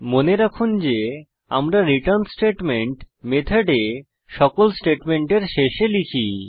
মনে রাখুন যে আমরা রিটার্ন স্টেটমেন্ট মেথডে সকল স্টেটমেন্টের শেষে লিখি